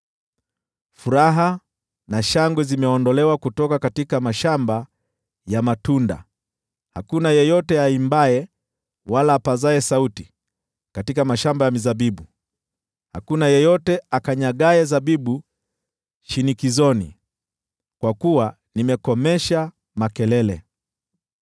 Furaha na shangwe zimeondolewa kutoka mashamba ya matunda; hakuna yeyote aimbaye wala apazaye sauti katika mashamba ya mizabibu; hakuna yeyote akanyagaye zabibu shinikizoni, kwa kuwa nimekomesha makelele.